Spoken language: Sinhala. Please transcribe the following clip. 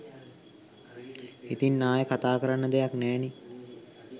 ඉතිං ආයේ කතා කරන්න දෙයක් නෑනේ.